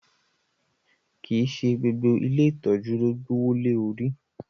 Kii ṣe gbogbo ìlé itọju lo gboowo le lori